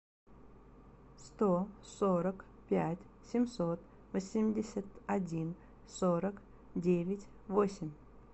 сто сорок пять семьсот восемьдесят один сорок девять восемь